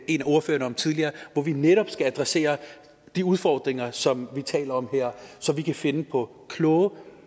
en af ordførerne tidligere hvor vi netop skal adressere de udfordringer som vi taler om her så vi kan finde på kloge